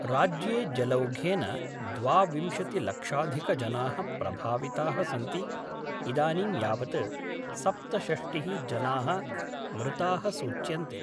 राज्ये जलौघेन द्वाविंशतिलक्षाधिकजना: प्रभाविता: सन्ति इदानीं यावत् सप्तषष्टि: जना: मृता: सूच्यन्ते।